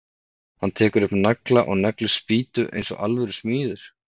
Hann tekur upp nagla og neglir spýtu eins og alvöru smiður.